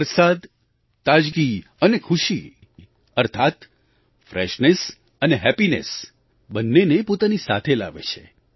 વરસાદ તાજગી અને ખુશી અર્થાત ફ્રેશનેસ અને હેપ્પીનેસ બંનેને પોતાની સાથે લાવે છે